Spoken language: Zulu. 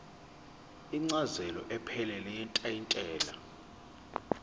incazelo ephelele yetayitela